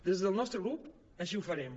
des del nostre grup així ho farem